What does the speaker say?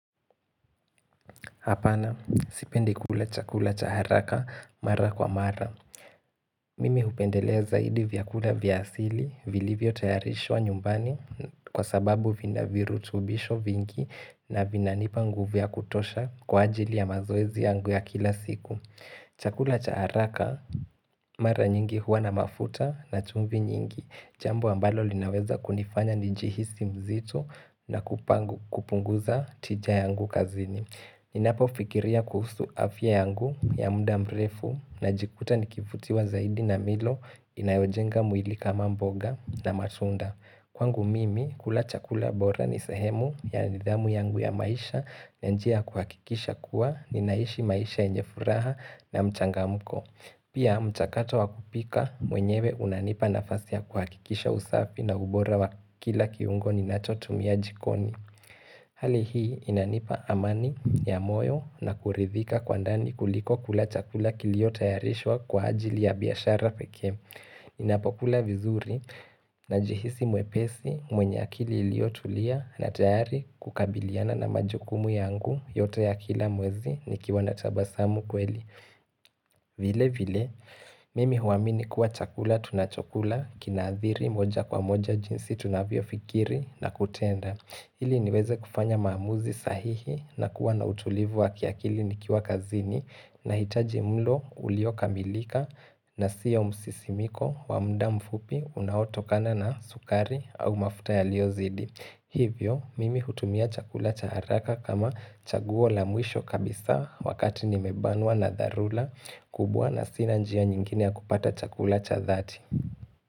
Hapana, sipendi kula chakula chaharaka mara kwa mara. Mimi hupendelea zaidi vyakula vyasili, vilivyo tayarishwa nyumbani kwa sababu vina virutubisho vingi na vina nipangu vya kutosha kwa ajili ya mazoezi yangu ya kila siku. Chakula chaharaka mara nyingi huwa na mafuta na chumvi nyingi, jambo ambalo linaweza kunifanya njihisi mzito na kupangu kupunguza tija yangu kazini. Ninapo fikiria kuhusu afya yangu ya muda mrefu na jikuta nikifutiwa zaidi na milo inayojenga mwili kama mboga na matunda Kwangu mimi kulacha kula bora ni sehemu ya nidhamu yangu ya maisha na njia kuhakikisha kuwa ninaishi maisha yenjefuraha na mchangamko Pia mchakato wakupika mwenyewe unanipa nafasia kuhakikisha usafi na ubora wa kila kiungoni ninachotumia jikoni Hali hii inanipa amani ya moyo na kuridhika kwa ndani kuliko kula chakula kilio tayarishwa kwa ajili ya biashara pekee ninapokula vizuri na jihisi mwepesi mwenye akili ilio tulia na tayari kukabiliana na majukumu yangu yote ya kila mwezi ni kiwanatabasamu kweli vile vile mimi huaamini kuwa chakula tunachokula kinaathiri moja kwa moja jinsi tunavyo fikiri na kutenda Hili niweze kufanya maamuzi sahihi na kuwa na utulivu wa kiakili nikiwa kazini na hitaji mlo ulioka milika na siyo msisimiko wa muda mfupi unaotokana na sukari au mafuta ya liozidi. Hivyo, mimi hutumia chakula cha haraka kama chaguol a mwisho kabisa wakati nimebanwa na dharura kubwa na sina njia nyingine ya kupata chakula cha dhati.